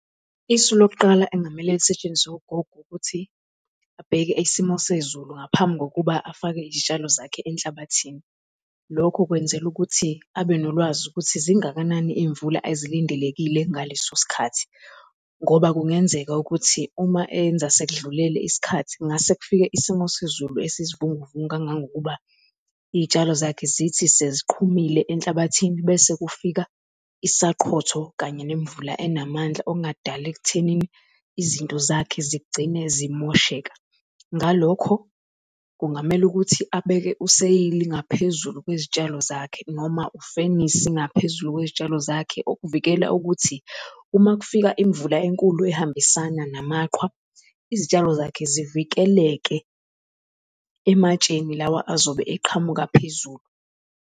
Isu lokuqala engamele lisetshenziswe ugogo ukuthi abheke isimo sezulu ngaphambi kokuba afake izitshalo zakhe enhlabathini. Lokho kwenzela ukuthi abenolwazi ukuthi zingakanani izimvula ezilindelekile ngaleso sikhathi, ngoba kungenzeka ukuthi uma enza sekudlulele isikhathi ngase kufike isimo sezulu esizivunguvungu kangangokuba izitshalo zakhe zithi seziqhumile enhlabathini bese kufika isaqhotho kanye ngemvula enamandla okungadala ekuthenini izinto zakhe zigcine zimosheka. Ngalokho kungamela ukuthi abeke eseyili ngaphezulu kwezitshalo zakhe noma ufenisi ngaphezulu kwezitshalo zakhe, ukuvikela ukuthi uma kufika imvula enkulu ehambisana namaqhwa, izitshalo zakhe zivikeleke ematsheni lawa azobe eqhamuka phezulu.